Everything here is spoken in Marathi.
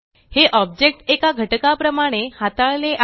हे ऑब्जेक्ट एका घटका प्रमाणे हाताळले आहे